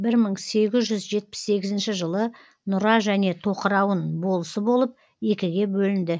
бір мың сегіз жүз жетпіс сегізінші жылы нұра және тоқырауын болысы болып екіге бөлінді